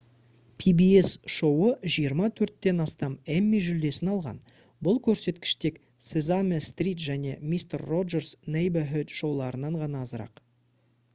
pbs шоуы жиырма төрттен астам эмми жүлдесін алған бұл көрсеткіш тек sesame street және mister roger's neighborhood шоуларынан ғана азырақ